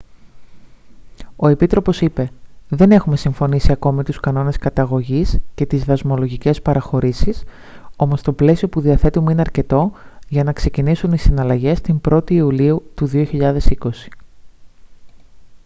ο επίτροπος είπε: «δεν έχουμε συμφωνήσει ακόμη τους κανόνες καταγωγής και τις δασμολογικές παραχωρήσεις όμως το πλαίσιο που διαθέτουμε είναι αρκετό για να ξεκινήσουν οι συναλλαγές την 1η ιουλίου 2020»